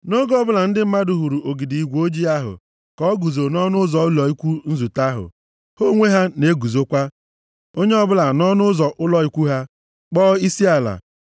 Nʼoge ọbụla, ndị mmadụ hụrụ ogidi igwe ojii ahụ ka o guzo nʼọnụ ụzọ ụlọ ikwu nzute ahụ, ha onwe ha na-eguzokwa, onye ọbụla, nʼọnụ ụzọ ụlọ ikwu ha, kpọọ isiala.